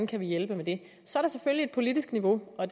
kan hjælpe med det så er der selvfølgelig et politisk niveau og